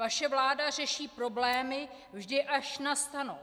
Vaše vláda řeší problémy vždy, až nastanou.